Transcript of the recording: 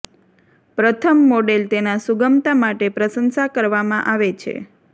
પ્રથમ મોડેલ તેના સુગમતા માટે પ્રશંસા કરવામાં આવે છે